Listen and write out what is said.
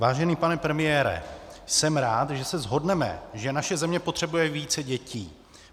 Vážený pane premiére, jsem rád, že se shodneme, že naše země potřebuje více dětí.